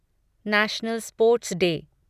national sports day